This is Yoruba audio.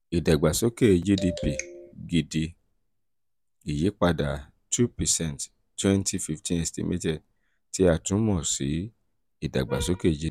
ìdàgbàsókè gdp gidi ìyípadà two percent twenty fifteen estimated tí a tún mọ̀ sí ìdàgbàsókè